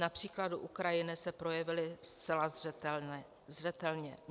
Na příkladu Ukrajiny se projevily zcela zřetelně.